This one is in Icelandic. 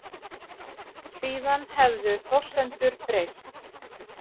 Síðan hefðu forsendur breyst